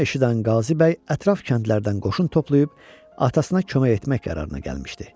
Bunu eşidən Qazı bəy ətraf kəndlərdən qoşun toplayıb atasına kömək etmək qərarına gəlmişdi.